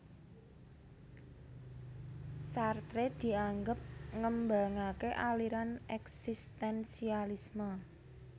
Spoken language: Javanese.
Sartre dianggep ngembangaké aliran eksistensialisme